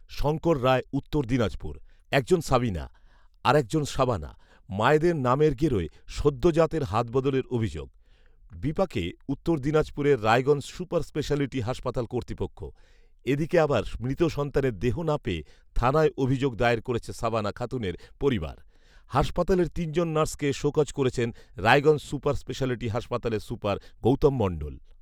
শংকর রায়, উত্তর দিনাজপুর, একজন সাবিনা৷ আর একজন শাবানা৷ মায়েদের নামের গেরোয় সদ্যোজাতের হাতবদলের অভিযোগ৷ বিপাকে উত্তর দিনাজপুরের রায়গঞ্জ সুপার স্পেশ্যালিটি হাসপাতাল কর্তৃপক্ষ৷ এদিকে আবার মৃত সন্তানের দেহ না পেয়ে থানায় অভিযোগ দায়ের করেছে সাবানা খাতুনের পরিবারে৷ হাসপাতালের তিনজন নার্সকে শোকজ করেছেন রায়গঞ্জ সুপার স্পেশ্যালিটি হাসপাতালের সুপার গৌতম মণ্ডল৷